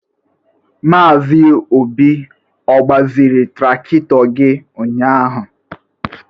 Maazi Obi ọ gbazịrị trakịtọ gị ụnyaahụ?